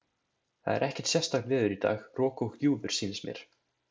Það er ekkert sérstakt veður í dag, rok og gjúfur sýnist mér.